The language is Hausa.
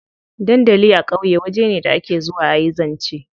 Dandali a ƙauye waje ne da ake zuwa a yi zance.